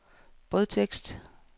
brødtekst